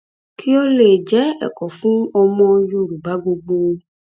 kí ó lè jẹ ẹkọ fún ọmọ yorùbá gbogbo